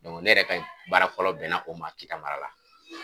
ne yɛrɛ ka baara fɔlɔ bɛn na o ma Kita mara la.